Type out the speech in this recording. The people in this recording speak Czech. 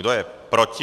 Kdo je proti?